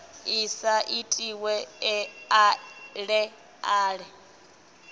i sa itiwe ale ale